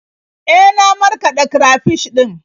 E, na markaɗa karafish ɗin.